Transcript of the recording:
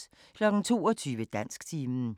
22:00: Dansktimen